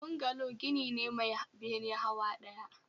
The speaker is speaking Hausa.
Bungalow gini ne Mai bene hawa ɗaya